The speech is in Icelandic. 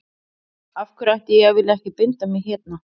Af hverju ætti ég að vilja ekki binda mig hérna.